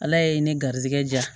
Ala ye ne garizɛgɛ ja